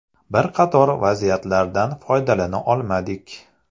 Bir qator vaziyatlardan foydalana olmadik.